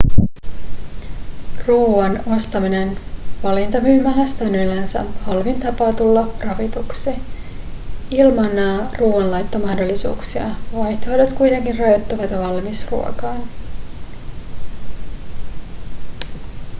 ruoan ostaminen valintamyymälästä on yleensä halvin tapa tulla ravituksi ilman ruoanlaittomahdollisuuksia vaihtoehdot kuitenkin rajoittuvat valmisruokaan